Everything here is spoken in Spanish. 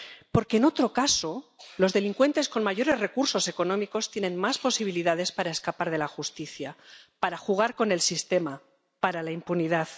Porque, en otro caso, los delincuentes con mayores recursos económicos tienen más posibilidades para escapar de la justicia, para jugar con el sistema, para la impunidad.